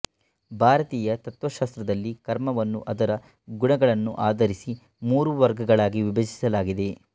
ಭಾರತೀಯ ತತ್ವಶಾಸ್ತ್ರದಲ್ಲಿ ಕರ್ಮವನ್ನು ಅದರ ಗುಣಗಳನ್ನು ಆಧರಿಸಿ ಮೂರು ವರ್ಗಗಳಲ್ಲಿ ವಿಭಜಿಸಲಾಗಿದೆ